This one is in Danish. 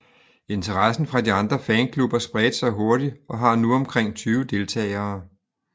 Interessen fra de andre fanklubber spredte sig hurtigt og har nu omkring 20 deltagere